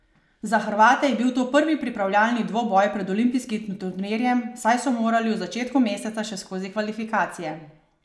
Za Hrvate je bil to prvi pripravljalni dvoboj pred olimpijskim turnirjem, saj so morali v začetku meseca še skozi kvalifikacije.